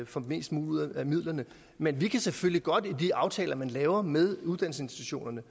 får mest muligt ud af midlerne men vi kan selvfølgelig godt i de aftaler man laver med uddannelsesinstitutionerne